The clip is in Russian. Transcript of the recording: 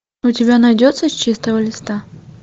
у тебя найдется с чистого листа